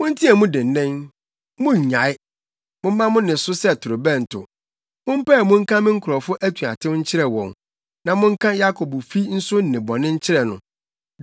“Monteɛ mu dennen, monnnyae. Momma mo nne so sɛ torobɛnto. Mompae mu nka me nkurɔfo atuatew nkyerɛ wɔn na monka Yakobfi nso nnebɔne nkyerɛ no.